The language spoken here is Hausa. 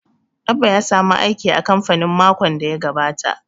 Abba ya samu aiki a kamfani makon da ya gabata